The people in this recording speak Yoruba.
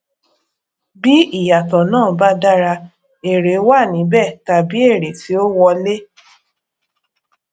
bí ìyàtọ náà ba dára èrè wà níbẹ tàbí èrè ti ó wọlé